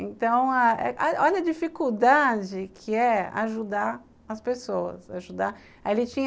Então, ah olha a dificuldade que é ajudar as pessoas. Ajuda, aí ele tinha